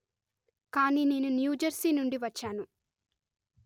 కానీ నేను New Jersey నుండి వచ్చాను